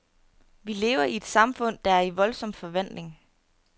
Vi lever i et samfund, der er i voldsom forvandling.